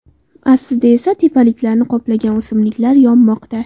Aslida esa tepaliklarni qoplagan o‘simliklar yonmoqda.